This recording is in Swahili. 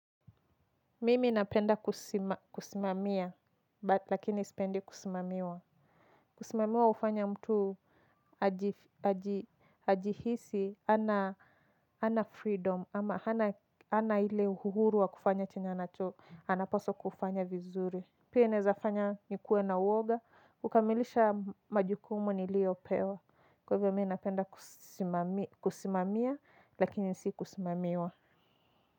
Mimi napenda kusimamia, but lakini sipendi kusimamiwa. Kusimamiwa hufanya mtu ajihisi, hana freedom, ama hana ile uhuru wa kufanya chenye anacho, anapaswa kufanya vizuri. Pia inazafanya nikuwe na uoga, kukamilisha majukumu niliopewa. Kwa hivyo mi napenda kusimamia, lakini si kusimamiwa.